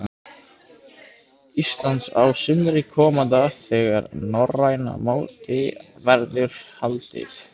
Íslands á sumri komanda þegar norræna mótið verður haldið.